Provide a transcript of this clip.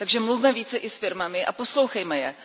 Takže mluvme více i s firmami a poslouchejme je.